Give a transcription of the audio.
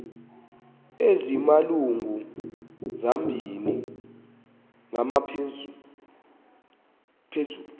ezimalungu mabini nangaphezulu